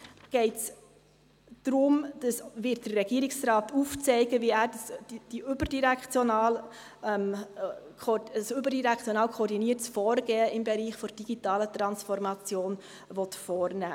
In diesem Bericht wird der Regierungsrat aufzeigen, wie er ein überdirektional koordiniertes Vorgehen im Bereich der digitalen Transformation vornehmen will.